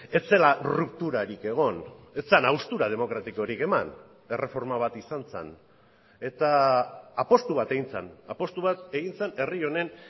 ez zela rupturarik egon ez zen haustura demokratikorik eman erreforma bat izan zen eta apustu bat egin zen apustu bat egin zen herri honen